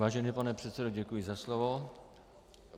Vážený pane předsedo, děkuji za slovo.